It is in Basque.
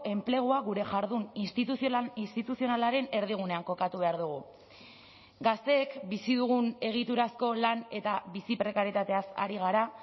enplegua gure jardun instituzional instituzionalaren erdigunean kokatu behar dugu gazteek bizi dugun egiturazko lan eta bizi prekarietateaz ari gara